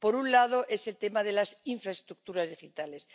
Por un lado, el tema de las infraestructuras digitales.